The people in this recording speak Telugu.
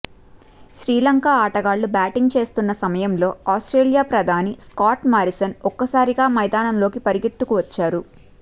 శ్రీలంక ఆటగాళ్లు బ్యాటింగ్ చేస్తున్న సమయంలో ఆస్ట్రేలియా ప్రధాని స్కాట్ మారిసన్ ఒక్కసారిగా మైదానంలోకి పరుగెత్తుకు వచ్చారు